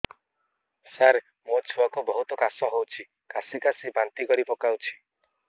ସାର ମୋ ଛୁଆ କୁ ବହୁତ କାଶ ହଉଛି କାସି କାସି ବାନ୍ତି କରି ପକାଉଛି